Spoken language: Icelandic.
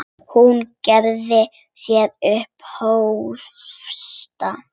Hún gerði sér upp hósta.